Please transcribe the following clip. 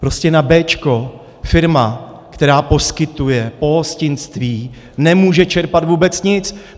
Prostě na béčko firma, která poskytuje pohostinství, nemůže čerpat vůbec nic.